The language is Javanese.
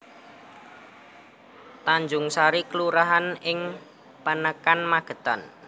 Tanjungsari kelurahan ing Panekan Magetan